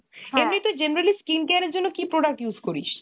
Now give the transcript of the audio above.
এমনি তুই generally skin care র জন্য কি product use করিস ?